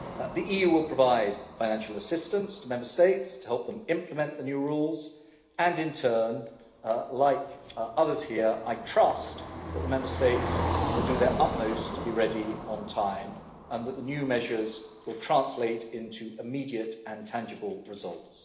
The EU will provide financial assistance to Member States to help them implement the new rules and in turn like others here I trust that the Member States will do their utmost to be ready on time and that the new measures will translate into immediate and tangible results.